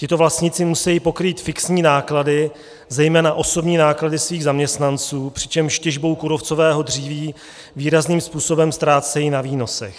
Tito vlastníci musejí pokrýt fixní náklady, zejména osobní náklady svých zaměstnanců, přičemž těžbou kůrovcového dříví výrazným způsobem ztrácejí na výnosech.